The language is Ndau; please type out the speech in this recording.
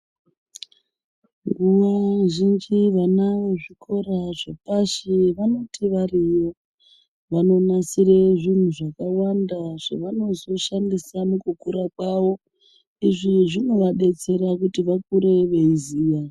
Nguwa zhinji vana vezvikora zvepashi vanoti variyo vanonasire zvinhu zvakawanda zvevanozoshandisa mukukurwa kwavo, izvi zvinovadetsera kuti vakure vechiziya.